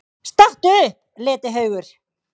STATTU UPP, LETIHAUGUR!